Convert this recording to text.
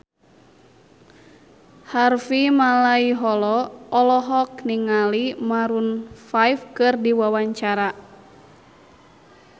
Harvey Malaiholo olohok ningali Maroon 5 keur diwawancara